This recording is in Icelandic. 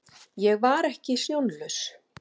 Ég var ekki sjónlaus.